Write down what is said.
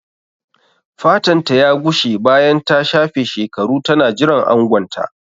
Fatanta ya gushe bayan ta shafe shekaru tana jiran angonta.